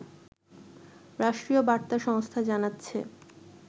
রাষ্ট্রীয় বার্তা সংস্থা জানাচ্ছে